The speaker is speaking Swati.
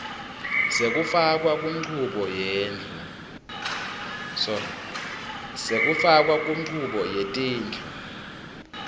sekufakwa kunchubo yetindlu